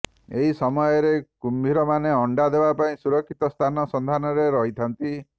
ଏହି ସମୟରେ କୁମ୍ଭୀରମାନେ ଅଣ୍ତା ଦେବା ପାଇଁ ସୁରକ୍ଷିତ ସ୍ଥାନ ସନ୍ଧାନରେ ରହିଥାନ୍ତି